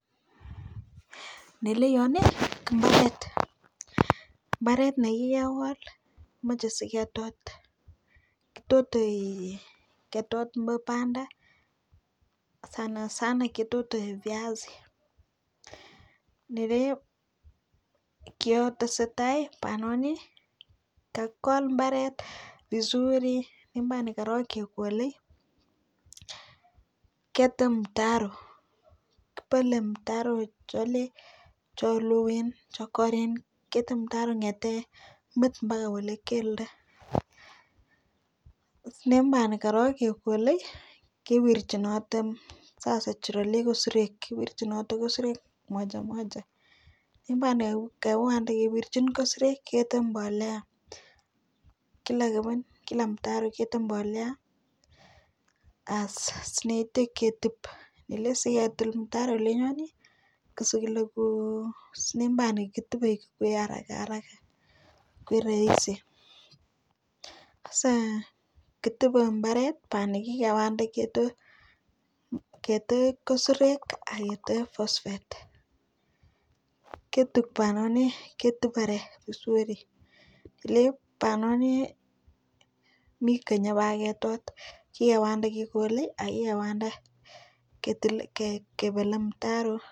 Neleyon ko mbaret mbaret nekikekol komoche siketot. Kitotei ketot mo banda sana sana ketote piasik nebeo kiotesetai bianoni kakikol mbaret vizuri mbarani korok kekolei ketem mtaro kibole mtaroit kole cheloen chekoren ketil mtaroit kongete met mpaka kole keldo ndeimani korok kekolei kiwirchinoti sasa cheroliok ko sirech moja moja yekiwande kewirchin kosirek kende mbolea kila keben kila mtaro kende mbolea as neite ketub kele siketil mtaro lenyoni kosikele ko silimban ketubei koek haraka haraka koek rahisi ketube mbaret bani kikewande ketoek kosorek akende phospate ketub kora vizuri liep banoni mitei inyebak ketot kewande kekole ako kewanda kebole mtaro